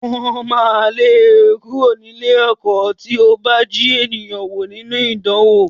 Wọ́n máa lé ẹ kúrò ní ilé-ẹ̀kọ́ tí ó bá jí èèyàn wò nínú ìdánwò.